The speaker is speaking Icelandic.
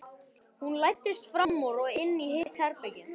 Hún læddist fram úr og inn í hitt herbergið.